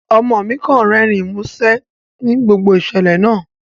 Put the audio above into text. Ọmo mi kan rẹrin musẹ ni gbogbo iṣẹlẹ naa